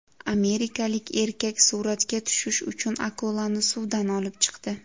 Amerikalik erkak suratga tushish uchun akulani suvdan olib chiqdi.